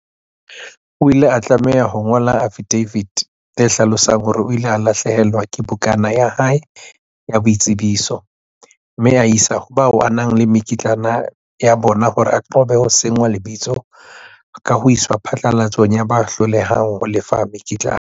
O ile a tlameha ho ngola afidafiti e hlalosang hore o ile a lahlehelwa ke bukana ya hae ya boitsebiso, mme a e isa ho bao a nang le mekitlane ya bona hore a qobe ho senngwa lebitso ka ho iswa phatlalatsong ya ba hlolehang ho lefa mekitlane.